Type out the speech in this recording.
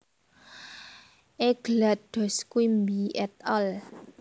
Eglat Doss Quimby et al